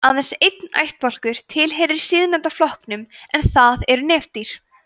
aðeins einn ættbálkur tilheyrir síðastnefnda flokknum en það eru nefdýr